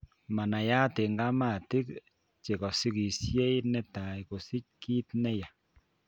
Manaiyat eng' kamatiik chekosikisye netai kosich kiit neyaa